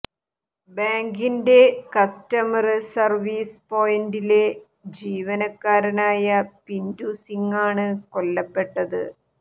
ബാങ്കിന്റെ customer service പോയിന്റിലെ ജീവനക്കാരനായ പിന്റു സിങ്ങാണ് കൊല്ലപ്പെട്ടത്